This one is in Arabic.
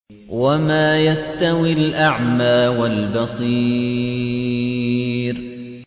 وَمَا يَسْتَوِي الْأَعْمَىٰ وَالْبَصِيرُ